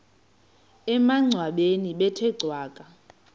emangcwabeni bethe cwaka